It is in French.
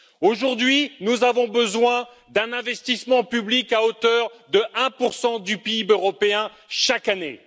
Aujourd'hui, nous avons besoin d'un investissement public à hauteur de 1 du PIB européen chaque année.